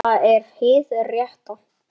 En það er hið rétta.